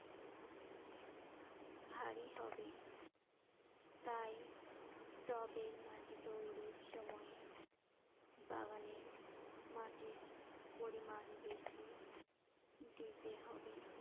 ভারী হবে। তাই টবের মাটি তৈরির সময়ে বাগানের মাটির পরিমাণ বেশি দিতে হবে।